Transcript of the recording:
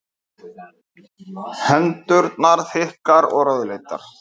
Hendurnar þykkar og rauðleitar.